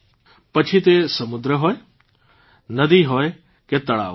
પછી તે સમુદ્ર હોય નદી હોય કે તળાવ હોય